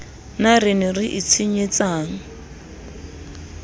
na re ne re itshwenyetsang